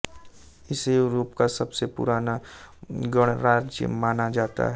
इसे यूरोप का सबसे पुराना गणराज्य माना जाता है